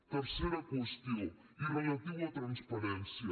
tercera qüestió i relativa a transparència